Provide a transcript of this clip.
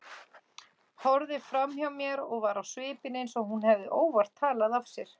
Horfði framhjá mér og var á svipinn eins og hún hefði óvart talað af sér.